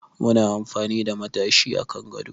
Muna amfani da matashi a kan gado